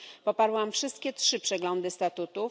Poparłam wszystkie trzy przeglądy statutów.